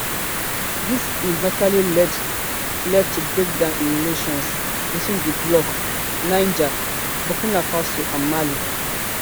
dis eventually lead lead to breakdown in relations between di bloc niger burkina faso and mali